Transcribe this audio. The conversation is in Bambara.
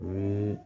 O ye